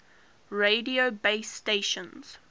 radio base stations